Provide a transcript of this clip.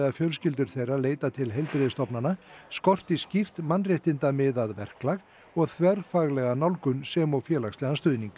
fjölskyldur þeirra leita til heilbrigðisstofnana skorti skýrt verklag og þverfaglega nálgun sem og félagslegan stuðning